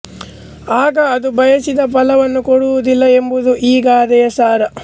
ಆಗ ಅದು ಬಯಸಿದ ಫಲವನ್ನು ಕೊಡುವುದಿಲ್ಲ ಎಂಬುದು ಈ ಗಾದೆಯ ಸಾರ